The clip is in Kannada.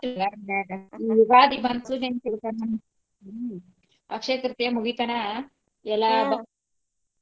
ಈ ಯುಗಾದಿ ಅಕ್ಷಯ ತೃತೀಯ ಮುಗಿತನಾ ಎಲ್ಲಾ .